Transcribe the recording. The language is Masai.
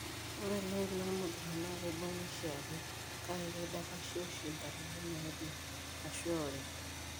Ore iloik lormogira naa keibung'a oshiake kake keidapashi oshi inkatitin naaje o/ashu eori.